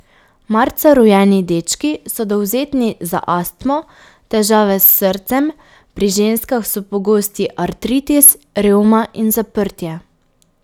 Marca rojeni dečki so dovzetni za astmo, težave s srcem, pri ženskah so pogosti artritis, revma in zaprtje.